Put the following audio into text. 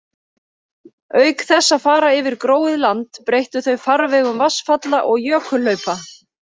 Auk þess að fara yfir gróið land breyttu þau farvegum vatnsfalla og jökulhlaupa.